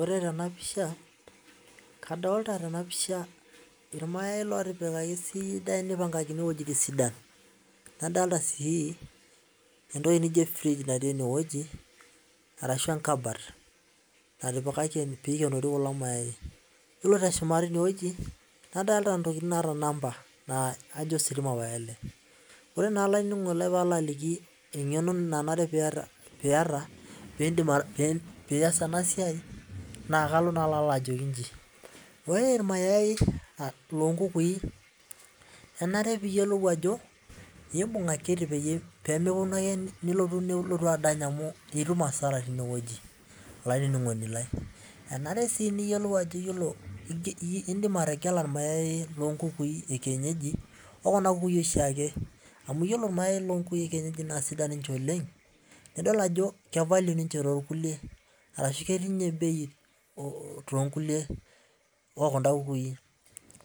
Ore tenapisha kadolta tenapisha irmayai otipikaki esidai nipangae esidai adolta si entoki nijo fridge tenewueji ashu enkabat natipikaki peshumieki kulo mayai ore si na kajo ositima pae ele ore naa olaininingoni lai engeno nanare piata pilo aas enasia na ore irmayai lonkukui enare piyiolou akiti pemilotu ake nilotu adany amu itum asara tinewueji enare su niyolou ajo indim ategela irmayai lekienyeji okuna kukui oshiake amu ore kuna kukui ekienyeji na sidai Oleng